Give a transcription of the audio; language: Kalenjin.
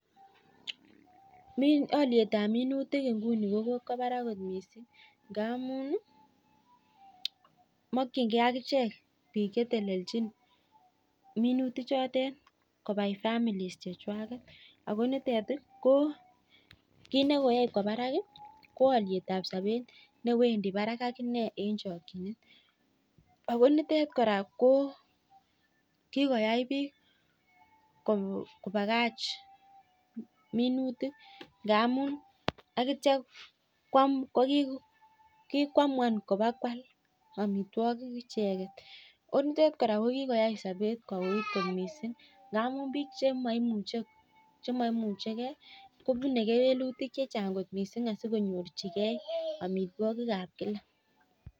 Olietab minutik nguni ko kokwa barak mising, ngamun mokchingei akichek biik chetelechin minutichutok kobai families chekwanget. Ako nitet kiit ne koyai kowa barak ko olietab sobet ne wendi barak ak ine eng chokchine. Akonitet kora ko kikoyai biik kobakach minutik akitio kikoamwan kopakwal amitwagik icheget. En utet kora kokikoyai sobet kouit kot mising ngamun biik chemaimuchegei kopunei kewelutiet kot mising asi konyorchigei amitwagik ab kila.